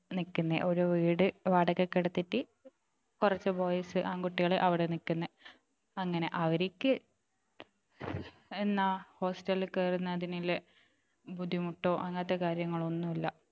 നിക്കുന്നെ ഒരു വീട് വാടകയ്ക്ക് എടുത്തിട്ട് കുറച്ചു boys ആൺകുട്ടികൾ അവിടെ നിക്കുന്നെ അങ്ങനെ അവർക്ക് എന്നാ hostel ൽ കയറുന്നതിനുള്ള ബുദ്ധിമുട്ടോ അങ്ങനത്തെ കാര്യങ്ങൾ ഒന്നും ഇല്ല